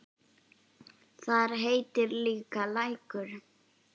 Þar heitir líka Lækur.